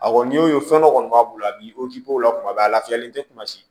A kɔni y'o ye fɛn dɔ kɔni b'a bolo bi o k'i b'o kuma bɛɛ a lafiyalen tɛ kuma si